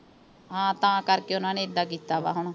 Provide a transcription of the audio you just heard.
ਹਾਂ, ਤਾਂ ਕਰਕੇ ਉਨ੍ਹਾਂ ਨੇ ਏਦਾਂ ਕੀਤਾ ਗਾ ਹੁਣ।